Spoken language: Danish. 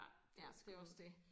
Ja det var sgu